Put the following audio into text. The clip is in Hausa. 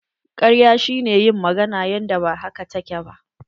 Karya shi ne yin magana yanda ba haka ta ke ba.